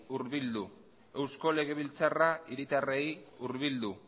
hurbildu eusko legebiltzarra hiritarrei hurbildu